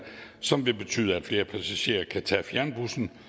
som vil betyde at flere passagerer kan tage fjernbussen